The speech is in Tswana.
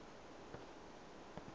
ope yo o nang le